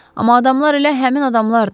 Amma adamlar elə həmin adamlardır.